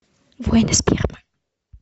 воины спермы